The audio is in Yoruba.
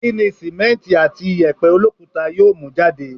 Kí ni sìmẹ́nti àti ìyẹ̀pẹ̀ olókuta yóò mú jáde?